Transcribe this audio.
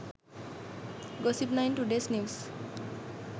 gossip9 todays news